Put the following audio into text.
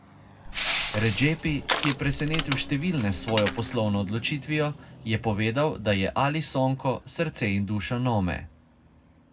Redzepi, ki je presenetil številne s svojo poslovno odločitvijo, je povedal, da je Ali Sonko srce in duša Nome.